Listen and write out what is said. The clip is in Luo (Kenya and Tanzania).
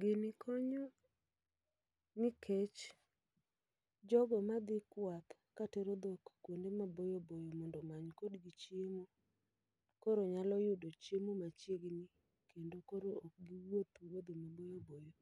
Gini konyo nikech jogo madhi kwath ka tero dhok kuonde maboyo boyo mondo omany kodgi chiemo, koro nyalo yudo chiemo machiegni. Kendo koro ok giwuoth wuodhe maboyo boyo